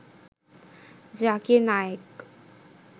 Zakir Naik